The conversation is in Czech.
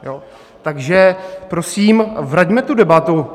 Takže prosím vraťme tu debatu.